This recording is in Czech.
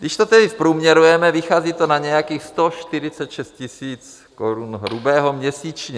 Když to tedy zprůměrujeme, vychází to na nějakých 146 000 korun hrubého měsíčně.